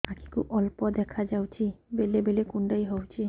ଆଖି କୁ ଅଳ୍ପ ଦେଖା ଯାଉଛି ବେଳେ ବେଳେ କୁଣ୍ଡାଇ ହଉଛି